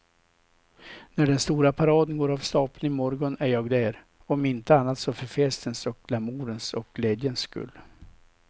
När den stora paraden går av stapeln i morgon är jag där, om inte annat så för festens och glamourens och glädjens skull.